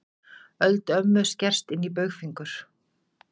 Öldu mömmu skerst inní baugfingur.